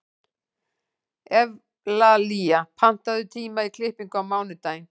Evlalía, pantaðu tíma í klippingu á mánudaginn.